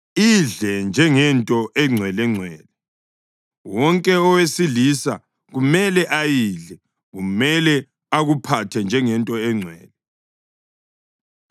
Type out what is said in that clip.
Idle njengento engcwelengcwele; wonke owesilisa kumele ayidle. Kumele akuphathe njengento engcwele.